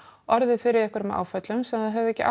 orðið fyrir einhverjum áföllum sem þær höfðu ekki